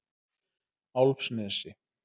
Álfsnesi